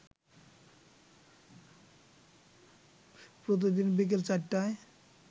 প্রতিদিন বিকেল ৪টায়